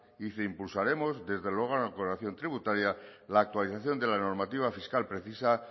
y dice impulsaremos desde luego la tributaria la actualización de la normativa fiscal precisa